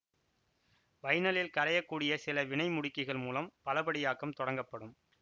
வைனைலில் கரையக் கூடிய சில வினை முடுக்கிகள் மூலம் பலபடியாக்கம் தொடங்கப்படும்